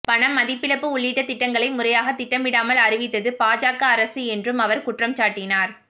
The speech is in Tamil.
பணமதிப்பிழப்பு உள்ளிட்ட திட்டங்களை முறையாக திட்டமிடாமல் அறிவித்தது பாஜக அரசு என்றும் அவர் குற்றம் சாட்டினார்